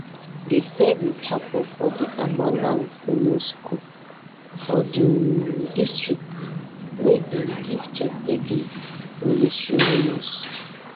di service happun for di amanang senior school for di um district where dem give cheptegei military honours